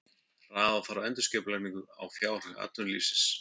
Hraða þarf endurskipulagningu á fjárhag atvinnulífsins